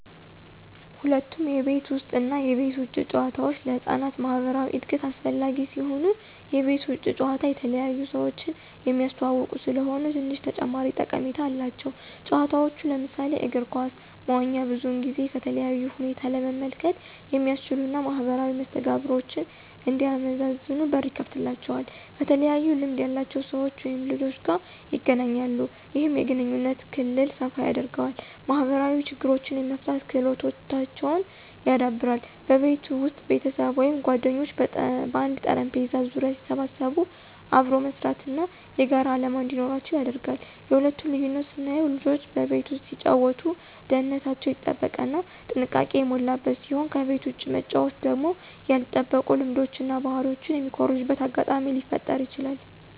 ሁለቱም የቤት ውስጥ እና የቤት ውጭ ጨዋታዎች ለህፃናት ማኅበራዊ እድገት አስፈላጊ ሲሆኑ፣ የቤት ውጭ ጨዋታ የተለያዩ ሰዎችን የሚያስተዋውቁ ስለሆኑ ትንሽ ተጨማሪ ጠቀሜታ አላቸው። ጨዋታዎች ለምሳሌ እግር ኳስ፣ መዋኛ ብዙውን ጊዜ ከተለያዩ ሁኔታ ለመመልከት የሚያስችሉ እና ማኅበራዊ መስተጋብሮችን እንዲያመዛዝኑ በር ይከፍትላቸዋል። ከተለያዩ ልምድ ያላቸው ሰዎች/ልጆች ጋር ይገናኛሉ። ይህም የግንኙነት ክልል ሰፋ ያደርገዋል። ማኅበራዊ ችግሮችን የመፍታት ክህሎታቸውን ያዳብራል። በቤት ውስጥ ቤተሰብ ወይም ጓደኞች በአንድ ጠረጴዛ ዙሪያ ሲሰበሰቡ አብሮ መስራት እና የጋራ ዓላማ እንዲኖራቸው ያደርጋል። የሁለቱ ልዩነት ስናየው ልጆች በቤት ውስጥ ሲጫወቱ ደህንነታቸው የተጠበቀ እና ጥንቃቄ የሞላበት ሲሆን ከቤት ውጭ መጫወቱ ደግሞ ያልተጠበቁ ልምዶችን እና ባህሪ የሚኮርጁበት አጋጣሚ ሊፈጠረ ይችላል።